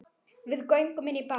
Við göngum inn á bás